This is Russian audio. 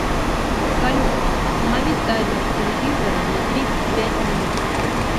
салют установи таймер телевизора на тридцать пять минут